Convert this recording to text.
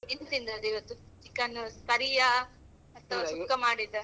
ಏನು ತಿಂದದ್ದು ಇವತ್ತು chicken curry ಯಾ? ಅತ್ವ ಸುಕ್ಕ ಮಾಡಿದ್ದ?